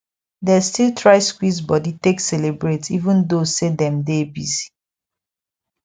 dey still try squeeze body take celebrate even though say them dey busy